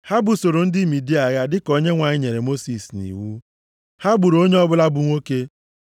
Ha busoro ndị Midia agha dịka Onyenwe anyị nyere Mosis nʼiwu. Ha gburu onye ọbụla bụ nwoke.